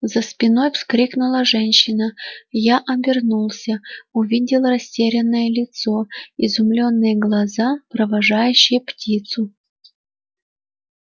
за спиной вскрикнула женщина я обернулся увидел растерянное лицо изумлённые глаза провожающие птицу